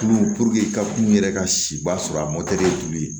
Tulu ka kuru yɛrɛ ka siba sɔrɔ a ye tulu ye